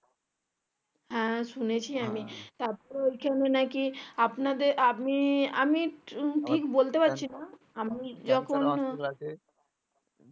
আহ শুনেছি আমি তারপরে ওখানে নাকি আপনাদের আপনি আমি ঠিক বলতে পারছিনা